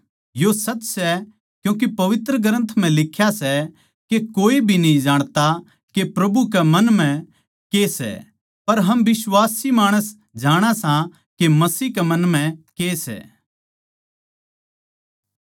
यो सच सै क्यूँके पवित्र ग्रन्थ म्ह लिख्या से के कोए भी न्ही जाणता के प्रभु के मन म्ह के सै पर हम बिश्वासी माणस जाणा सां के मसीह के मन म्ह के सै